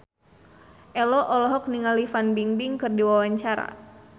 Ello olohok ningali Fan Bingbing keur diwawancara